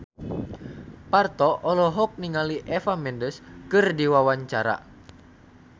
Parto olohok ningali Eva Mendes keur diwawancara